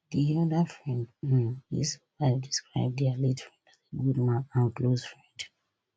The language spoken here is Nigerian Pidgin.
di oda friend um wey survive describe dia late friend as a good good man and close friend